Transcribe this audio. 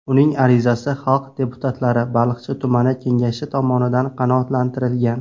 Uning arizasi xalq deputatlari Baliqchi tumani kengashi tomonidan qanoatlantirilgan.